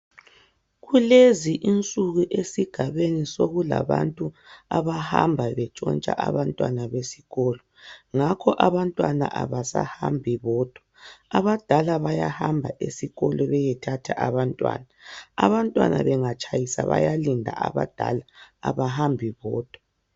Kulezi insuku esigabeni sokulabantu abahamba bentshotsha abantwana besikolo ngakho abantwana abasahambi bodwa abadala bayahamba esikolo beyethatha abantwana abantwana bengatshayisa bayalinda abadala abahambi bodwa